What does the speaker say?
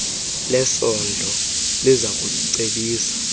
lesondlo liza kucebisa